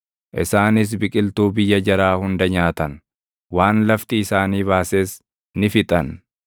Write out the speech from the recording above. isaanis biqiltuu biyya jaraa hunda nyaatan; waan lafti isaanii baases ni fixan.